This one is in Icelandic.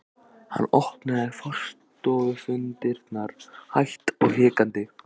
Hann opnaði forstofudyrnar hægt og hikandi.